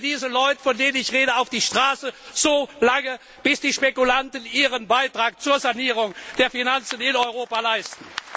Dann bringen wir diese Leute, von denen ich rede, auf die Straße, so lange, bis die Spekulanten Ihren Beitrag zur Sanierung der Finanzen in Europa leisten!